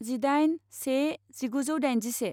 जिदाइन से जिगुजौ दाइनजिसे